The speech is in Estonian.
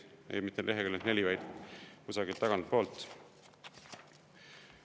Ei, mitte leheküljelt 4, vaid kusagilt tagantpoolt.